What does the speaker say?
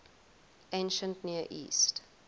ancient near east